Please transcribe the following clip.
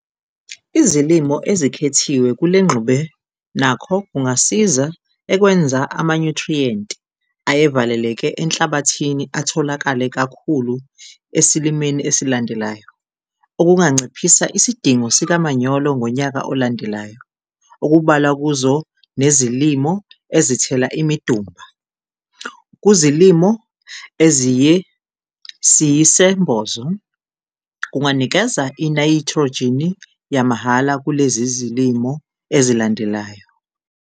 Izilimo ezikhethiwe kule ngxube nakho kungasiza ekwenza amanyuthriyenti ayevaleleke enhlabathini atholakale kakhulu esilimeni elilandelayo, okunganciphisa isidingo sikamanyolo ngonyaka olandelayo. Okubalwa kuzo nezilimo ezithela imidumba kuzilimo eziyesiyisembozo kunganikeza inayithrojini yamahhala kulezi zilimo ezilandelayo.